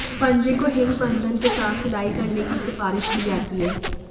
पंजे को हिंग बन्धन के साथ सिलाई करने की सिफारिश की जाती है